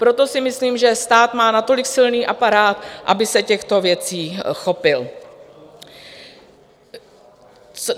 Proto si myslím, že stát má natolik silný aparát, aby se těchto věcí chopil.